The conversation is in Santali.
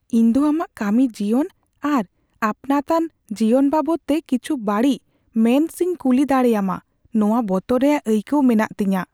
ᱤᱧ ᱫᱚ ᱟᱢᱟᱜ ᱠᱟᱹᱢᱤ ᱡᱤᱭᱚᱱ ᱟᱨ ᱟᱹᱯᱱᱟᱹᱛᱟᱱ ᱡᱤᱭᱚᱱ ᱵᱟᱵᱚᱫᱛᱮ ᱠᱤᱪᱷᱩ ᱵᱟᱹᱲᱤᱡ ᱢᱮᱱ ᱥᱮᱧ ᱠᱩᱞᱤ ᱫᱟᱲᱮᱭᱟᱢᱟ ᱱᱚᱶᱟ ᱵᱚᱛᱚᱨ ᱨᱮᱭᱟᱜ ᱟᱹᱭᱠᱟᱹᱣ ᱢᱮᱱᱟᱜ ᱛᱤᱧᱟ ᱾